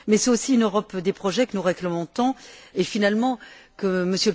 C'est aussi une Europe des projets que nous réclamons tant et finalement que M.